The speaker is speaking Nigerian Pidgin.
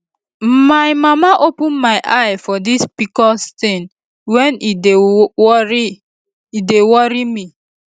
na my mama open my eye for this pcos thing when e dey worry e dey worry me